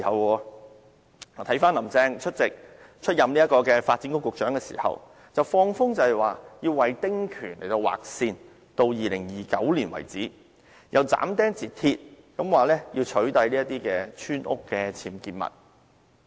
回看她出任發展局局長時，放風說要為丁權劃線至2029年為止；又斬釘截鐵地說要取締這些村屋僭建物。